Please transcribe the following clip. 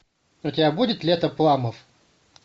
у тебя будет лето пламмов